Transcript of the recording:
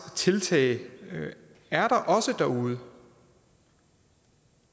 tiltag er der også derude